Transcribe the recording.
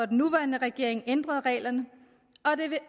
den nuværende regering ændrede reglerne